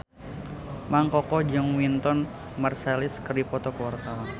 Mang Koko jeung Wynton Marsalis keur dipoto ku wartawan